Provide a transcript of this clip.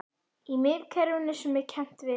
Í miðkerfinu sem kennt er við